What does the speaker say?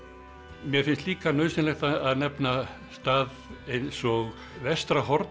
mér finnst líka nauðsynlegt að nefna stað eins og